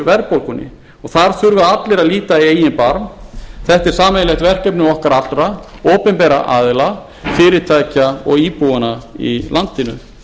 verðbólgunni þar þurfa allir að líta í eigin barm þetta er sameiginlegt verkefni okkar allra opinberra aðila fyrirtækja og íbúanna í landinu